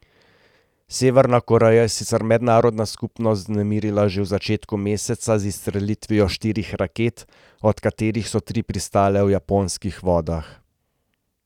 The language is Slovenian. Severna Koreja je sicer mednarodno skupnost vznemirila že v začetku meseca z izstrelitvijo štirih raket, od katerih so tri pristale v japonskih vodah.